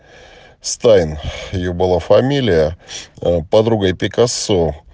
стайн её была фамилия подругой пикассо